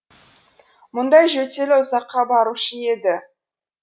мұндай жөтелі ұзаққа барушы еді